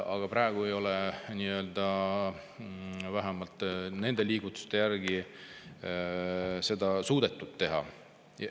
Aga praegu ei ole vähemalt seniste liigutustega seda suudetud teha.